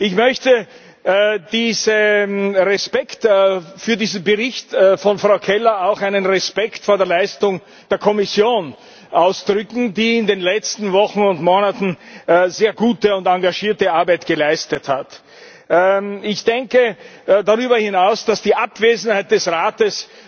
Ich möchte mit dem Respekt für diesen Bericht von Frau Keller auch meinen Respekt vor der Leistung der Kommission ausdrücken, die in den letzten Wochen und Monaten sehr gute und engagierte Arbeit geleistet hat. Ich denke darüber hinaus, dass die Abwesenheit des Rates